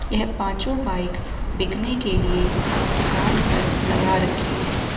यह पांचो बाइक बिकने के लिए दुकान पर लगा रखी हैं।